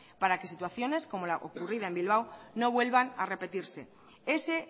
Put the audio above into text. para que situaciones como la ocurrida en bilbao no vuelvan a repetirse ese